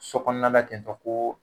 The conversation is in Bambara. So kɔnɔ an la ten tɔ ko